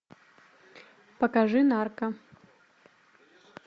покажи нарко